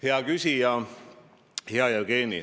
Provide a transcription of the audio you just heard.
Hea küsija, hea Jevgeni!